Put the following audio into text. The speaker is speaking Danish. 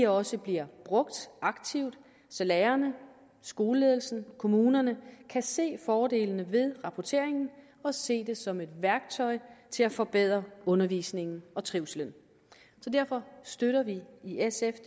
også bliver brugt aktivt så lærerne skoleledelsen og kommunerne kan se fordelene ved rapportering og se det som et værktøj til at forbedre undervisningen og trivslen derfor støtter vi i sf